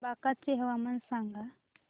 बांका चे हवामान सांगा